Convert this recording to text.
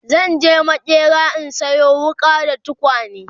zanje maƙera in Sayo wuƙa da tukwane